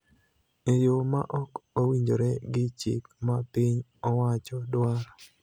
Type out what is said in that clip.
e yo ma ok owinjore gi chik ma piny owacho dwaro.